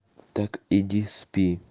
так иди спи